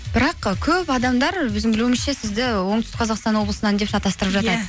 бірақ і көп адамдар өзім білуімше сізді оңтүстік қазақстан облысынан деп шатастырып жатады иә